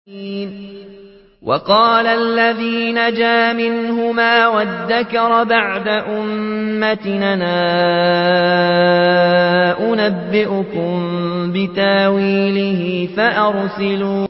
وَقَالَ الَّذِي نَجَا مِنْهُمَا وَادَّكَرَ بَعْدَ أُمَّةٍ أَنَا أُنَبِّئُكُم بِتَأْوِيلِهِ فَأَرْسِلُونِ